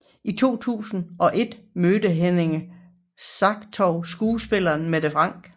I 2001 mødte Henrik Sartou skuespiller Mette Frank